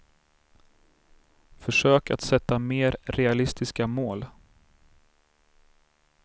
Försök att sätta mer realistiska mål.